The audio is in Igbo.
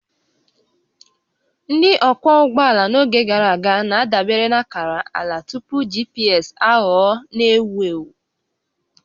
Ndị ọkwọ ụgbọala n'oge gara aga na-adabere na akara ala tupu GPS aghọọ n'ewu ewu